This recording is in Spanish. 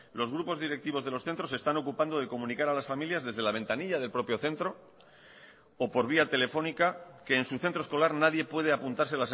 los grupos directivos de los centros se están ocupando de comunicar a las familias desde la ventanilla del propio centro o por vía telefónica que en su centro escolar nadie puede apuntarse